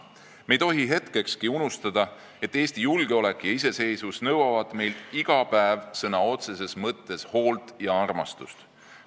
Me ei tohi hetkekski unustada, et Eesti julgeolek ja iseseisvus nõuavad meilt iga päev sõna otseses mõttes hoolt ja armastust.